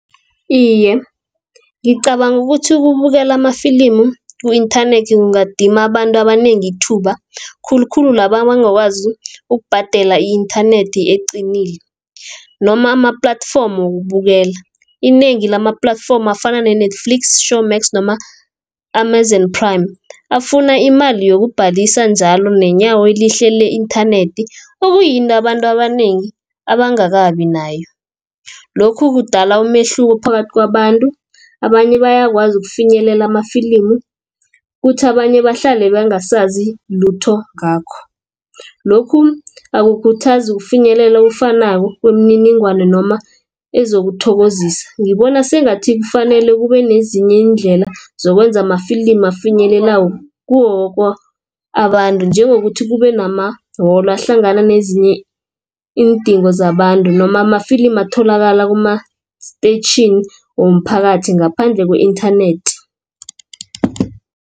Iye, ngicabanga ukuthi ukubukela amafilimi ku-internet kungadima abantu abanengi ithuba khulukhulu laba abangakwazi ukubhadela i-internet eqinile noma ama-platform wokubukela. Inengi lama-platform afana ne-Netflix, Showmax noma ama-Amazon Prime. Afuna imali yokubhalisa njalo nenyawo elihle le-internet okuyinto abantu abanengi abangakabi nayo. Lokhu kudala umehluko phakathi kwabantu, abanye bayakwazi ukufinyelela amafilimi, kuthi abanye bahlale bangasazi lutho ngakho. Lokhu akukhuthazi ukufinyelela okufanako kwemininingwana noma ezokuthokozisa. Ngibona sengathi kufanele kube nezinye iindlela zokwenza amafilimi abafinyelelako kiwo woke abantu njengokuthi kube namawolo nezinye iindingo zabantu noma amafilimi atholakala kuma-station womphakathi ngaphandle ku-internet.